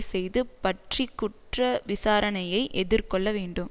செய்தது பற்றி குற்ற விசாரணையை எதிர்கொள்ள வேண்டும்